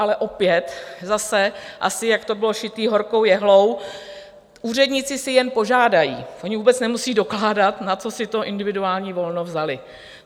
Ale opět, zase, asi jak to bylo šité horkou jehlou, úředníci si jen požádají, oni vůbec nemusí dokládat, na co si to individuální volno vzali.